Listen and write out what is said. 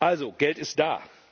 Also Geld ist da.